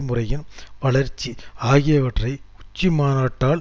முறையின் வளர்ச்சி ஆகியவற்றை உச்சிமாநாட்டால்